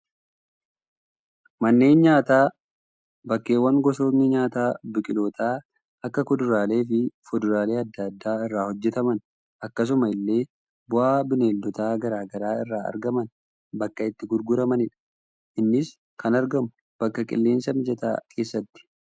Manneen nyaataa, bakkeewwan gosootni nyaataa biqiloota akka kuduraalee fi fuduraalee addaa addaa irraa hojjetaman, akkasuma illee bu'aa Bineeldota garaagaraa irraa argaman bakka itti gurguramanidha. Innis kan argamu, bakka qilleensa mijataa keessatti.